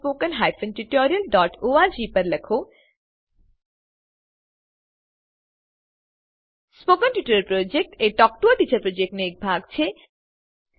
spoken tutorial project talk to a teacher પ્રોજેક્ટનો એક ભાગ છે